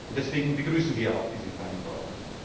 Deswegen begrüßen wir auch diese Vereinbarung.